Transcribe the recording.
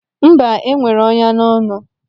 Mba, enwere ọnyá n'ọnụ.